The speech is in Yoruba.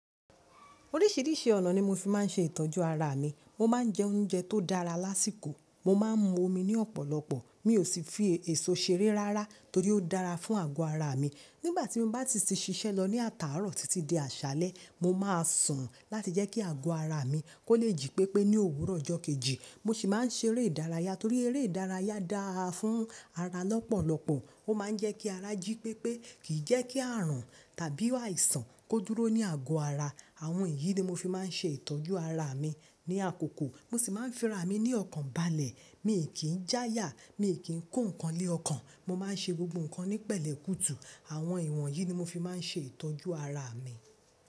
Oríṣìíríṣìí ọ̀nà ni mo fi máa ń ṣe ìtọ́jú ara mi. Mo máa ń jẹ oúnjẹ tó dára lásìkò, mo máa ń mu omi ní ọ̀pọ̀lọpọ̀, mi ò sì fi èso ṣeré rárá torí ó dára fún àgọ́ ara mi. Nígbà tí mo bá ti ṣiṣẹ́ lọ ní àtàárọ̀ títí di àṣálẹ́, mo máa sùn láti jẹ́ kí àgọ́ ara mi kó lè jí pépé ní òwúrọ̀ ọjọ́ kejì. Mo sì máa ń ṣe eré ìdárayá torí eré ìdárayá dára fún ara lọ́pọ̀lọpọ̀. Ó máa ń jẹ́ kí ara jí pépé, kì í jẹ́ kí àrùn tàbí àìsàn kó dúró ní àgọ́ ara. Àwọn èyí ni mo fi máa ń ṣe ìtọ́jú ara mi ní àkókò. Mo sì máa ń fi ara mi ní ọ̀kàn balẹ̀, mi kì í já yà, mi ò kí ń kó nǹkan lé ọkàn. Mo máa ń ṣe gbogbo nǹkan ní pẹ̀lẹ́ kùtù. Àwọn ìwọ̀n yìí ni mo fi máa ń ṣe ìtọ́jú ara mi.